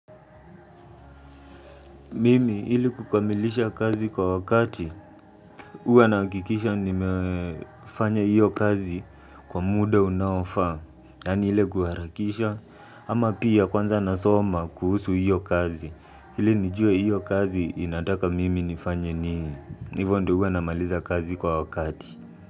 Mimi ili kukamilisha kazi kwa wakati, huwa nahakikisha nimefanya hiyo kazi kwa muda unaofaa, yani ile kuharakisha, ama pia kwanza nasoma kuhusu hiyo kazi, ili nijue hiyo kazi inataka mimi nifanya nini hivo ndio huwa namaliza kazi kwa wakati.